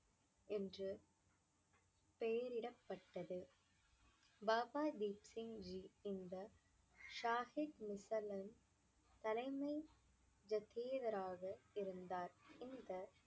என்று பெயரிடப்பட்டது. பாபா தீப் சிங்ஜி இந்த சாஹிப் தலைமை இருந்தார். இந்த